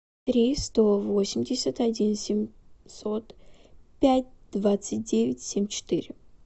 три сто восемьдесят один семьсот пять двадцать девять семь четыре